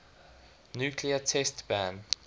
nuclear test ban